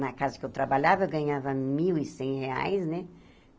Na casa que eu trabalhava, eu ganhava mil e cem reais, né?